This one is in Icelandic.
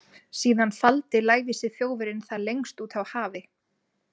Síðan faldi lævísi þjófurinn það lengst úti á hafi.